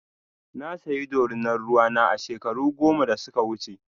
Na saya ɗorina ruwa na a shekaru goma da suka wuce.